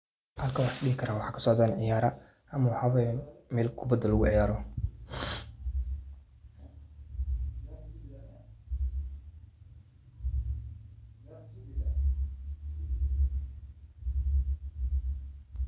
Halkan waxisdehi karah waxa socdah ceeyara amah waxay meel kubat lagu ceeyaroh .